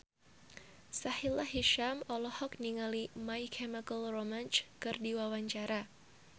Sahila Hisyam olohok ningali My Chemical Romance keur diwawancara